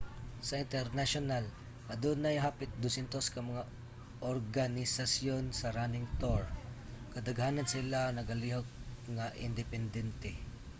sa internasyonal adunay hapit 200 ka mga organisasyon sa running tour. kadaghanan sa ilaha nagalihok nga independente